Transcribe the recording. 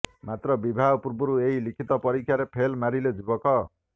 ମାତ୍ର ବିବାହ ପୂର୍ବରୁ ଏହି ଲିଖିତ ପରୀକ୍ଷାରେ ଫେଲ୍ ମାରିଲେ ଯୁବକ